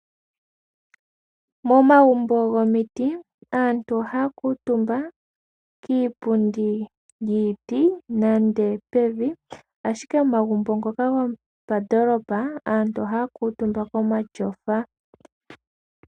Momagumbo gomiti aantu ohaya kutumba kiipundi yiiti nenge pevi ashike omagumbo ngoka gopandoolopa aantu ohaya kutumba komatyofa.